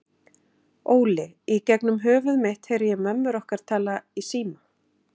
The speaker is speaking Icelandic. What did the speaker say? Óli, í gegnum höfuð mitt heyri ég mömmur okkar tala í síma.